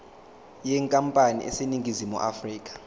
yenkampani eseningizimu afrika